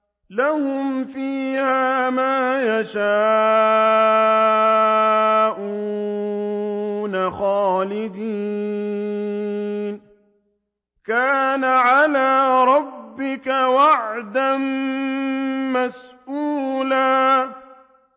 لَّهُمْ فِيهَا مَا يَشَاءُونَ خَالِدِينَ ۚ كَانَ عَلَىٰ رَبِّكَ وَعْدًا مَّسْئُولًا